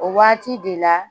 O waati de la